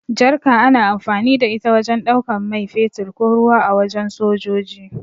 Jarka ana amfani da ita wajen ɗaukan mai fetur ko ruwa a wajen sojoji.